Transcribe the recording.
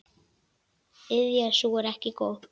Iðja sú er ekki góð.